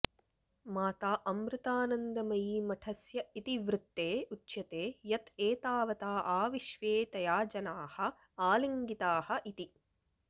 माता अमृतानन्दमयीमठस्य इतिवृत्ते उच्यते यत् एतावता आविश्वे तया जनाः आलिङ्गिताः इति